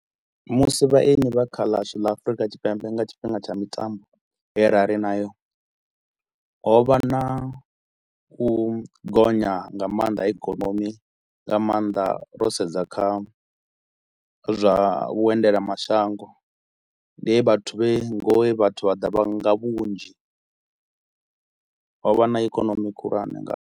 Musi vhaeni vha kha ḽashu ḽa Afurika Tshipembe nga tshifhinga tsha mitambo he ra ri nayo ho vha na u gonya nga maanḓa ha ikonomi nga maanḓa ro sedza kha zwa vhuendela mashango. Ndi he vhathu vhe ngo vhathu vha ḓa vha nga vhunzhi, ho vha na ikonomi khulwane nga.